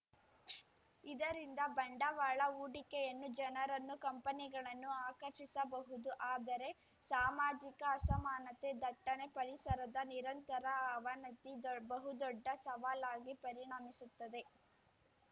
ಇದರಿಂದ ಬಂಡವಾಳಹೂಡಿಕೆಯನ್ನು ಜನರನ್ನು ಕಂಪನಿಗಳನ್ನು ಆಕರ್ಷಿಸಬಹುದು ಆದರೆ ಸಾಮಾಜಿಕ ಅಸಮಾನತೆ ದಟ್ಟಣೆ ಪರಿಸರದ ನಿರಂತರ ಅವನತಿ ದೋ ಬಹುದೊಡ್ಡ ಸವಾಲಾಗಿ ಪರಿಣಮಿಸುತ್ತದೆ